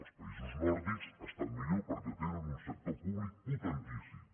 els països nòrdics estan millor perquè tenen un sector públic potentíssim